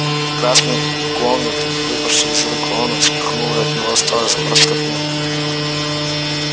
красный конверт выпавший из рук рона вспыхнул и от него осталась горстка пепла